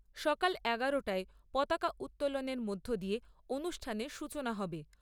সকাল এগারোটায় পতাকা উত্তোলনের মধ্য দিয়ে অনুষ্ঠানের সূচনা হবে।